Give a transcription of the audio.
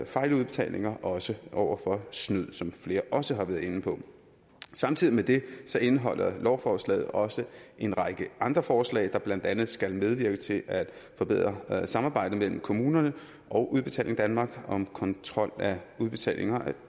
fejludbetalinger også over for snyd som flere også har været inde på samtidig med det indeholder lovforslaget også en række andre forslag der blandt andet skal medvirke til at forbedre samarbejdet mellem kommunerne og udbetaling danmark om kontrol af udbetalinger af